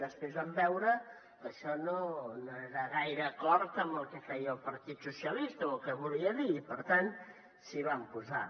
després van veure que això no anava gaire d’acord amb el que feia el partit socialista o amb el que volia dir i per tant s’hi van posar